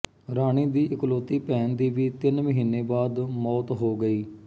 ਰਾਣੀ ਦੀ ਇਕਲੌਤੀ ਭੈਣ ਦੀ ਵੀ ਤਿੰਨ ਮਹੀਨੇ ਬਾਅਦ ਮੌਤ ਹੋ ਗਈ